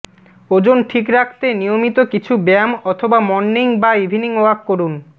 ওজন ঠিক রাখতে নিয়মিত কিছু ব্যায়াম অথবা মর্নিং বা ইভিনিং ওয়াক করুন